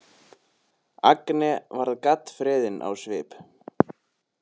Agne varð gaddfreðin á svip.